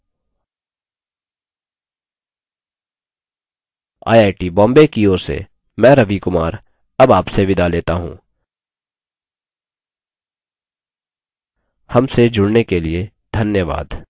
I I T Bombay की ओर से मैं रवि कुमार अब आपसे विदा लेता हूँ हमसे जुड़ने के लिए धन्यवाद